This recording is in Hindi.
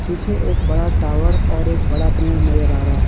पीछे एक बड़ा टावर और एक बड़ा पेड़ नजर आ रहा है।